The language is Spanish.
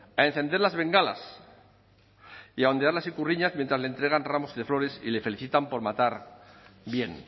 a encender las bengalas y a hondear las ikurriñas mientras le entregan ramos de flores y le felicitan por matar bien